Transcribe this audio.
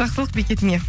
жақсылық бекетіне